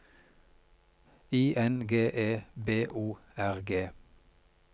I N G E B O R G